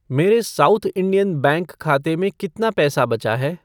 मेरे South Indian Bank खाते में कितना पैसा बचा है?